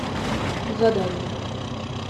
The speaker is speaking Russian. задание